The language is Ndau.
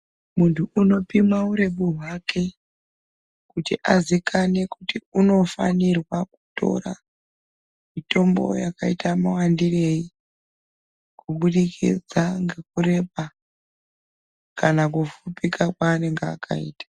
Muntu anopima uremu hwake kuti azikanwe kuti unofanirwa kutora mitombo yakaita mawandirei kubudikidza ngekureba kana kufupika kwanenge akaita.